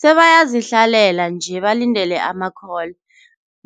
Sebayazihlalela nje, balindele ama-call